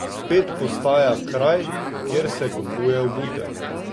Spet postaja kraj, kjer se kupuje obutev.